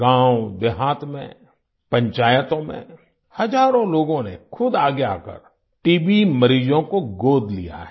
गाँवदेहात में पंचायतों में हजारों लोगों ने खुद आगे आकर टीबी मरीजों को गोद लिया है